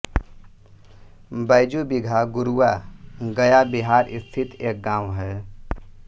बैजू बीघा गुरुआ गया बिहार स्थित एक गाँव है